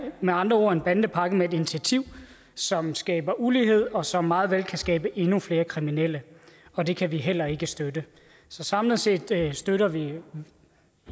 med andre ord en bandepakke med et initiativ som skaber ulighed og som meget vel kan skabe endnu flere kriminelle og det kan vi heller ikke støtte så samlet set støtter vi